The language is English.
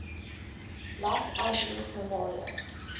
los angeles memorial